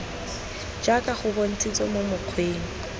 jaaka go bontshitswe mo mokgweng